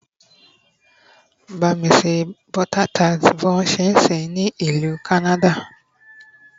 ba mi se butter tart bi wọn ti nse ni ìlú canada